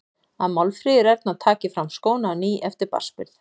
Að Málfríður Erna taki fram skóna á ný eftir barnsburð.